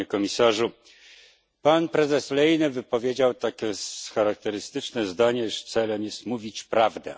Panie Komisarzu! Pan prezes Lehne wypowiedział takie charakterystyczne zdanie, iż celem jest mówić prawdę.